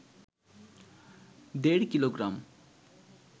১.৫ kilogram,